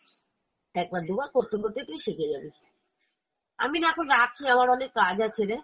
একবার দুবার করতে করতে তুই শিখে যাবি আমি না এখন রাখি আমার অনেক কাজ আছে রে